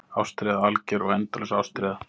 Ástríða, alger og endalaus ástríða.